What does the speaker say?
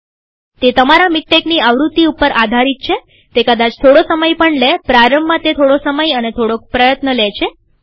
તે તમારા મીક્ટેકની આવૃત્તિ ઉપર આધારિત છેતે કદાચ થોડો સમળ પણ લેપ્રારંભમાં તે થોડો સમય અને થોડોક પ્રયત્ન લે છે